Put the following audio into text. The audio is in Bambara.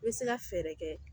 I bɛ se ka fɛɛrɛ kɛ